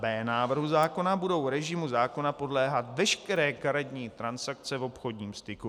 b) návrhu zákona budou režimu zákona podléhat veškeré karetní transakce v obchodním styku.